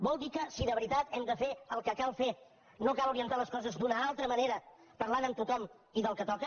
vol dir que si de veritat hem de fer el que cal fer no cal orientar les coses d’una altra manera parlant amb tothom i del que toca